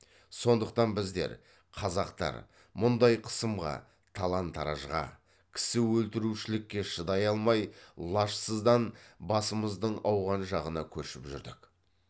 сондықтан біздер қазақтар мұндай қысымға талан таражға кісі өлтірушілікке шыдай алмай лажсыздан басымыздың ауған жағына көшіп жүрдік